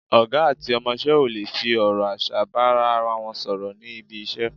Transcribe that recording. Ọ̀gá àti ọmọṣẹ́ ò lè fi ọ̀rọ̀ aṣa bá ara wọn sọ̀rọ̀ níbi iṣẹ́,